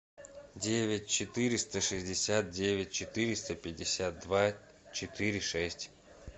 девять четыреста шестьдесят девять четыреста пятьдесят два четыре шесть